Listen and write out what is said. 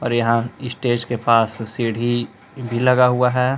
और यहां स्टेज के पास सीढ़ी भी लगा हुआ है।